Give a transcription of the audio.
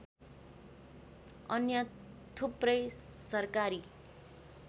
अन्य थुप्रै सरकारी